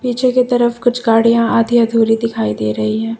पीछे की तरफ कुछ गाड़िया आधी अधूरी दिखाई दे रही है।